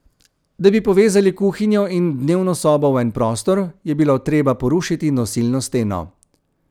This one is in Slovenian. Da bi povezali kuhinjo in dnevno sobo v en prostor, je bilo treba porušiti nosilno steno.